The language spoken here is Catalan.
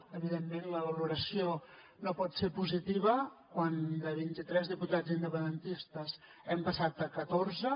evidentment la valoració no pot ser positiva quan de vint i tres diputats independentistes hem passat a catorze